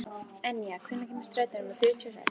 Enja, hvenær kemur strætó númer fjörutíu og sex?